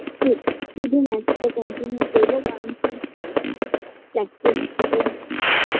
তু শুধু maths টা continue করবো কারণ কি practice তো